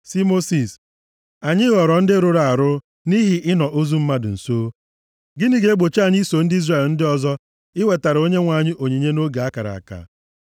sị Mosis, “Anyị ghọrọ ndị rụrụ arụ nʼihi ịnọ ozu mmadụ nso. Gịnị ga-egbochi anyị iso ndị Izrel ndị ọzọ iwetara Onyenwe anyị onyinye nʼoge a kara aka?”